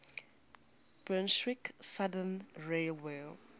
brunswick southern railway